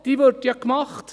Sie wird ja gemacht: